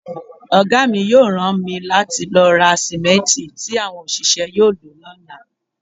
Ọ̀gá mi yóò rán mi láti lọ ra sìmẹ́ǹtì tí àwọn òṣìṣẹ́ yóò lò lọ́la.